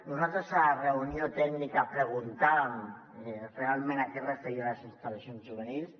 nosaltres a la reunió tècnica preguntàvem realment a què es referien les instal·lacions juvenils